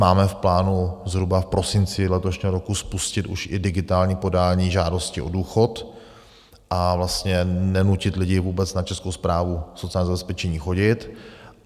Máme v plánu zhruba v prosinci letošního roku spustit už i digitální podání žádosti o důchod a vlastně nenutit lidi vůbec na Českou správu sociálního zabezpečení chodit.